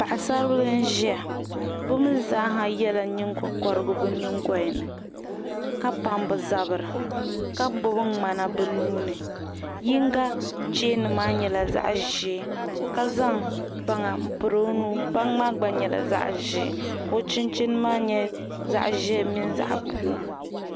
Paɣisaribil n ziya bi mi zaa yela nyiŋgo koriti bi nyiŋgolini, ka pam bi zabiri ka gbubi mŋana bi nuuni yiŋga cheeni maa nyela zaɣizɛɛ ka zaŋ baŋa n piri ɔnuu baŋ maa gba nyela zaɣizɛɛ ka ɔchinchini maa nyɛ. , zaɣizɛɛ mini zaɣi blue